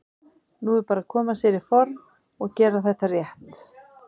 Nú er bara að koma sér í form og gera þetta rétt.